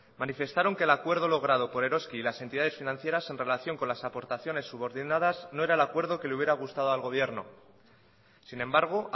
manifestaron que el acuerdo logrado por eroski y las entidades financieras en relación con las aportaciones subordinadas no era el acuerdo que le hubiera gustado al gobierno sin embargo